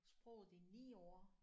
Sproget i 9 år